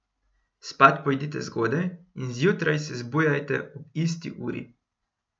Spat pojdite zgodaj in zjutraj se zbujajte ob isti uri.